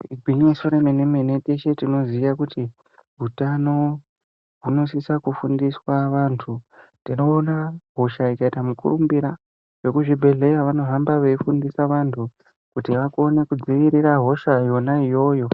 Igwinyiso remene-mene teshe tinoziya kuti hutano hunosisa kufundiswa vantu tinoona hosha ikaita mukurumbira vekuzvibhedhleya vanohamba veifundisa vantu kuti vakone kudzivirira hosha yona iyoyo